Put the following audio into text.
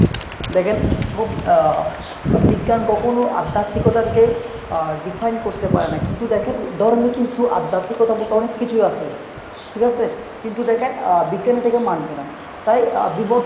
দ্যাখেন সব আহ বিজ্ঞান কখনো আধ্যাত্মিকতারকে define করতে পারেনা। কিন্তু দ্যাখেন ধর্মে কিন্তু আধ্যাত্মিকতা বলতে অনেক কিছুই আছে। ঠিক আছে। কিন্তু দ্যাখেন আ বিজ্ঞান এটাকে মানবে না। তাই